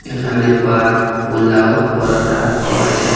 এখানে বাত ফুলাউ পরোটা পাওয়া যায়।